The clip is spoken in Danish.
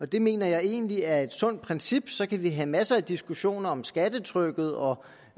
det mener jeg egentlig er et sundt princip så kan vi have masser af diskussioner om skattetrykket og